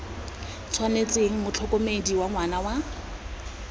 tshwanetseng motlhokomedi wa ngwana wa